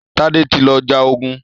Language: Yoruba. Tade tí lọ já ògún.